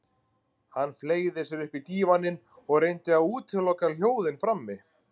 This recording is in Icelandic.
Hann fleygði sér upp í dívaninn og reyndi að útiloka hljóðin frammi.